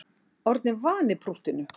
Orðnir vanir prúttinu